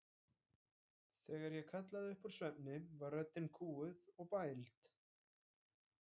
Þegar ég kallaði upp úr svefni var röddin kúguð og bæld.